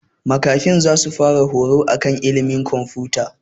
Makafi zasu fara horo akan ilimin komfuta